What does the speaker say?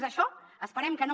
és això esperem que no